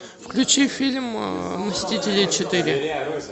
включи фильм мстители четыре